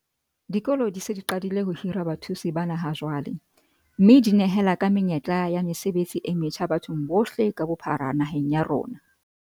Dikolo di se di qadile ho hira bathusi bana ha jwale, mme di nehela ka menyetla e ya mesebetsi e metjha bathong bohle ka bophara naheng ya rona.